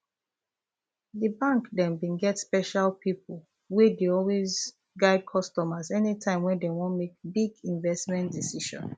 the bank dem get special people wey dey always guide customers anytime dem wan make big investment decision